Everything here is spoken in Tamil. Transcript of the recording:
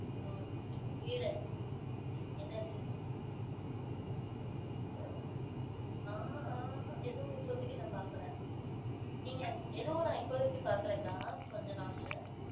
ஆஹ் என்னது? அஹ் ஆஹ் எதுவும் இப்போதைக்கு நான் பார்க்கல. நீங்க எதுவும், நான் இப்போதைக்கு பார்க்கலக்கா. கொஞ்ச நாள்ல.